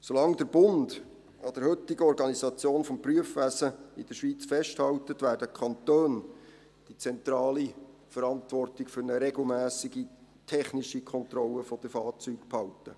Solange der Bund an der heutigen Organisation des Prüfwesens in der Schweiz festhält, werden die Kantone die zentrale Verantwortung für eine regelmässige technische Kontrolle der Fahrzeuge behalten.